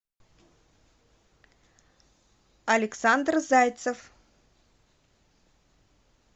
александр зайцев